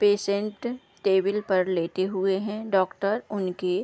patient table पर लेटे हुए है डॉक्टर उनकी --